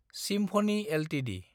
symphony Ltd